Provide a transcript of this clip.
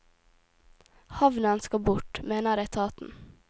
Havnen skal bort, mener etaten.